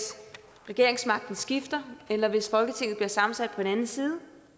regeringsmagten skifter eller hvis folketinget bliver sammensat